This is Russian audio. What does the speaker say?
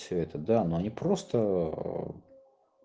все это да но не просто